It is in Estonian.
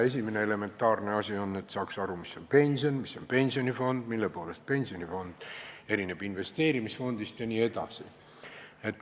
Esimene elementaarne asi on aru saada, mis on pension, mis on pensionifond, mille poolest pensionifond erineb investeerimisfondist jne.